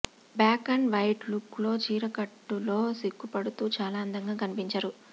black and white look లో చీరకట్టులో సిగ్గుపడుతూ చాలా అందంగా కనిపించరు